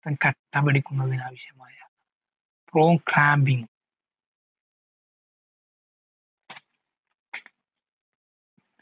കട്ട പിടിക്കുന്നതിന് ആവിശ്യമായ prothrombin